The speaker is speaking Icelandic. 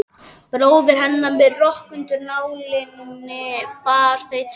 Bróðir hennar með rokk undir nálinni, bara þau tvö heima.